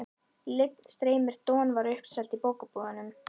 Lygn streymir Don var uppseld í bókabúðum.